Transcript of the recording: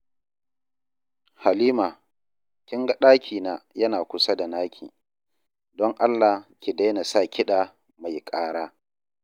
Halima, kin ga ɗakina yana kusa da naki, don Allah ki daina sa kiɗa mai ƙara